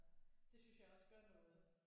Det synes jeg også gør noget